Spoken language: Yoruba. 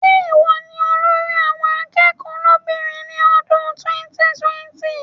Ṣé ìwọ ni olórí àwọn akẹ́kọ̀ọ́ lóbìnrin ti ọdún 2020?